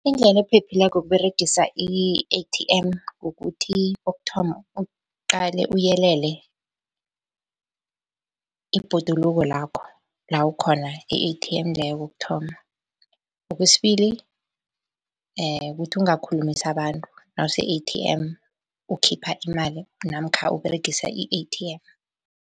Indlela ephephileko yokUberegisa i-A_T_M kukuthi kokuthoma, uqale uyelele ibhoduluko lakho la ukhona i-A_T_M leyo, kokuthoma. Okwesibili kukuthi ungakhulumisi abantu nawuse-A_T_M ukhipha imali namkha Uberegisa i-A_T_M.